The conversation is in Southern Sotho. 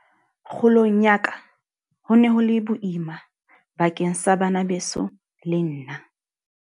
Kgolong ya ka ho ne ho le boima bakeng sa bana beso le nna.